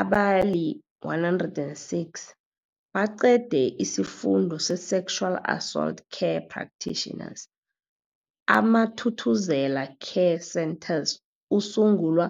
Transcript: abali-106 baqede isiFundo se-Sexual Assault Care Practitioners. AmaThuthuzela Care Centres asungulwa